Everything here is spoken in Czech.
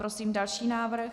Prosím další návrh.